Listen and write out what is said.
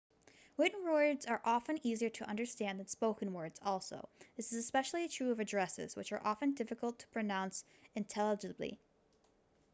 written words are often easier to understand than spoken words also this is especially true of addresses which are often difficult to pronounce intelligibly